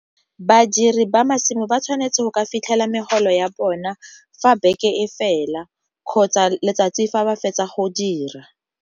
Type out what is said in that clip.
Badiri ba masimo ba tshwanetse go ka fitlhela megolo ya bona fa beke e fela, kgotsa letsatsi fa ba fetsa go dira.